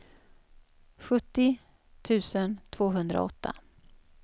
sjuttio tusen tvåhundraåtta